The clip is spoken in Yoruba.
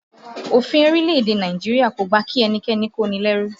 Òfin orílẹ̀-èdè Nàìjíríà kò gbà kí ẹnikẹ́ni kó ni lẹ́rú